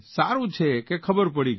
સારૂં છે કે ખબર પડી ગઇ